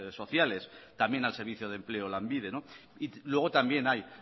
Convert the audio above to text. sociales también al servicio de empleo lanbide y luego también hay